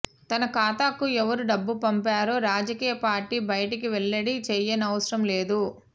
తన ఖాతాకు ఎవరు డబ్బు పంపారో రాజకీయ పార్టీ బయటికి వెల్లడి చేయనవసరం లేదు